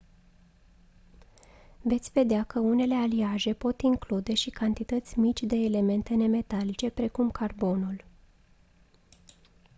veți vedea că unele aliaje pot include și cantități mici de elemente nemetalice precum carbonul